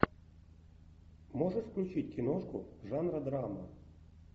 можешь включить киношку жанра драма